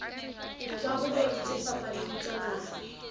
dikarolong tse fapaneng tsa naha